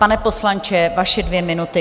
Pane poslanče, vaše dvě minuty.